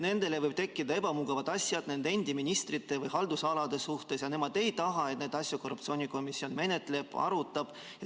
Nendel võivad tekkida ebamugavad asjad nende endi ministrite või haldusalade suhtes ja nad ei taha, et korruptsioonikomisjon neid asju menetleb ja arutab.